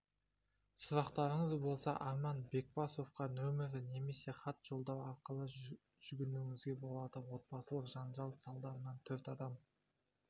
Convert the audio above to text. сұрақтарыңыз болса арман бекбасовқа нөмірі немесе хат жолдау арқылы жүгінуіңізге болады отбасылық жанжал салдарынан төрт адам